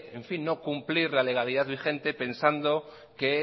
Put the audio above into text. en fin no cumplir la legalidad vigente pensando que